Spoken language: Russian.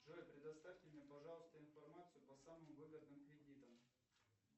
джой предоставьте мне пожалуйста информацию по самым выгодным кредитам